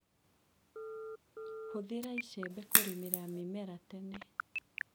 Hũthĩra icembe kũrĩmĩra mĩmera tene.